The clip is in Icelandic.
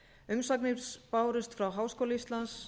umsagnir bárust frá háskóla íslands